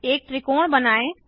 एक त्रिकोण बनाएँ